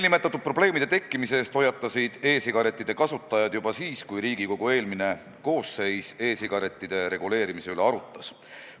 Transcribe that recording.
Nende probleemide tekkimise eest hoiatasid e-sigarettide kasutajad juba siis, kui Riigikogu eelmine koosseis e-sigarettide reguleerimist arutas.